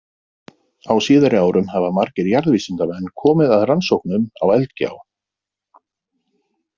Á síðari árum hafa margir jarðvísindamenn komið að rannsóknum á Eldgjá.